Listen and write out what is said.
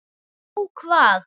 Ó hvað?